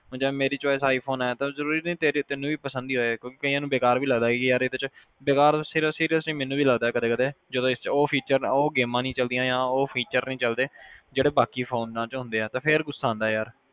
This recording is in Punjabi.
ਜੇ ਮੇਰੀ choice i phone ਤਾ ਜਰੂਰੀ ਨਹੀਂ ਤੈਨੂੰ ਵੀ ਪਸੰਦ ਆਵੇ ਕਈਆਂ ਨੂੰ ਬੇਕਾਰ ਵੀ ਲੱਗਦਾ seriously ਮੈਨੂੰ ਵੀ ਲੱਗਦਾ ਕਦੇ ਕਦੇ ਉਹ feature ਉਹ ਗੇਮਾਂ ਨਹੀਂ ਚਲਦੀਆਂ ਜਾਂ ਉਹ features ਨਹੀਂ ਚਲਦੇ ਕਦੇ ਕਦੇ ਜਿਹੜੇ ਬਾਕੀ ਫੋਨਾਂ ਚ ਹੁੰਦੇ ਆ